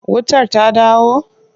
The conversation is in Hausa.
Wutar ta dawo?